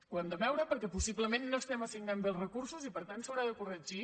ho hem de veure perquè possiblement no estem assignant bé els recursos i per tant s’haurà de corregir